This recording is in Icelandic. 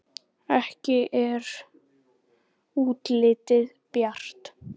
Ekki er útlitið bjart!